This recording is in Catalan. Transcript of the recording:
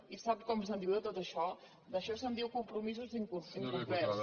i sap com se’n diu de tot això d’això se’n diu compromisos incomplerts